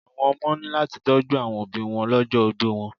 Àwọn ọmọ ní láti tọ́jú àwọn òbíi wọn lọ́jọ́ ogbó wọn.